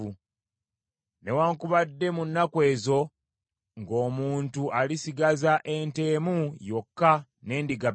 Newaakubadde mu nnaku ezo, ng’omuntu alisigaza ente emu yokka n’endiga bbiri,